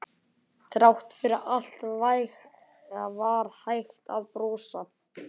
Þrátt fyrir allt var hægt að brosa.